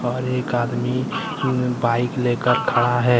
और एक आदमी बाइक लेकर खड़ा है।